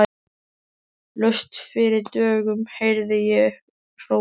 Laust fyrir dögun heyrði ég hrópað.